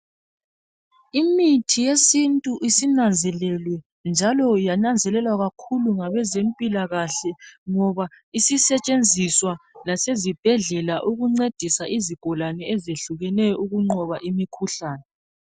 Imithi yesintu isinanzelelwe njalo yananzelelwa ngabezempila kahle ngoba isisetshenziswa lasezibhedlela ukuncedisa izigulane ezihlukeneyo ukunqoba imikhuhlane.